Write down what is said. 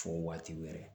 Fo waatiw yɛrɛ